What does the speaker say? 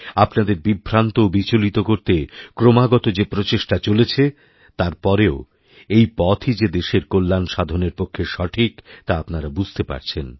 আপনাদেরবিভ্রান্ত ও বিচলিত করতে ক্রমাগত যে প্রচেষ্টা চলেছে তার পরেও এই পথই যে দেশেরকল্যাণসাধনের পক্ষে সঠিক তা আপনারা বুঝতে পারছেন